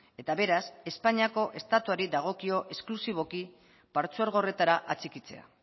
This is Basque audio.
eta beraz espainiako estatuari dagokio esklusiboki partzuergo horretara atxikitzea